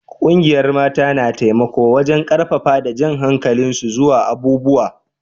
Ƙungiyan mata na taimako wajen karfafa da jan hankalin su zuwa abubuwa.